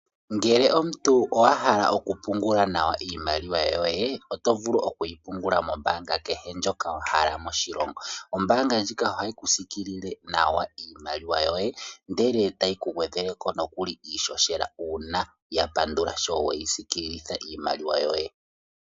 Ngele omuntu owa hala oku pungula nawa iimaliwa yoye. Oto vulu oku yi pungula mombaanga kehe ndjoka wa hala moshilongo. Ombaanga ndyoka ha yi ku siikilile nawa iimaliwa yoye, ndele ta yi ku gwedhele ko nokuli iishoshela, uuna ya pandula shoo we yi siikililitha iimaliwa yoye.